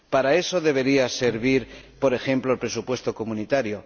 Para eso debería servir, por ejemplo, el presupuesto comunitario.